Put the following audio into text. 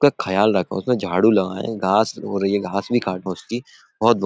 ख्याल रखो उसमे झाड़ू लगाए। घास हो रही है घास भी काटो उसकी --